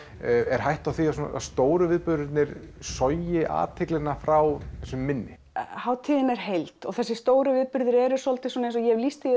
er hætta á því að stóru viðburðirnir sogi athyglina frá þessum minni hátíðin er heild og þessir stóru viðburðir eru svolítið svona eins og ég hef lýst því